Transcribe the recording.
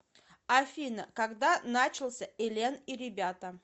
афина когда начался элен и ребята